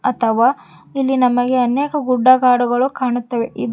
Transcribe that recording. ಅತವಾ ಇಲ್ಲಿ ನಮಗೆ ಅನೇಕ ಗುಡ್ಡಗಾಡುಗಳು ಕಾಣುತ್ತವೆ ಇದು--